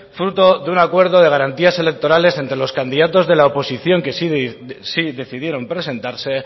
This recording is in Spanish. fruto de un acuerdo de garantías electorales entre los candidatos de la oposición que sí decidieron presentarse